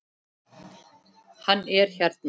Hann er hérna.